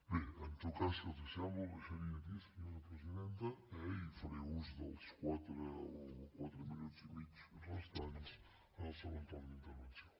bé en tot cas si els sembla bé ho deixaria aquí senyora presidenta eh i faré ús dels quatre o quatre minuts i mig restants en el segon torn d’intervenció